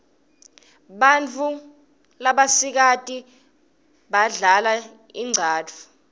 bautfusano labasikati badlal inqcatfu